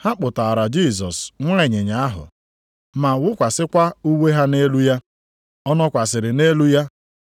Ha kpụtaara Jisọs nwa ịnyịnya ahụ, ma wụkwasịkwa uwe ha nʼelu ya, ọ nọkwasịrị nʼelu ya.